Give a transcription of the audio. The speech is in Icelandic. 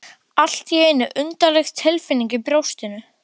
Allt í einu undarleg tilfinning í brjóstinu.